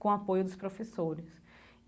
com o apoio dos professores.